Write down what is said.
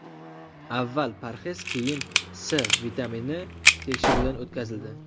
Avval parhez, keyin C vitamini tekshiruvdan o‘tkazildi.